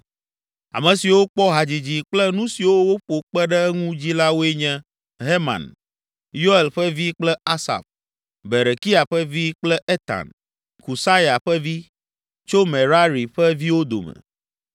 Ame siwo kpɔ hadzidzi kple nu siwo woƒo kpe ɖe eŋu dzi la woe nye Heman, Yoel ƒe vi kple Asaf, Berekia ƒe vi kple Etan, Kusaya ƒe vi, tso Merari ƒe viwo dome.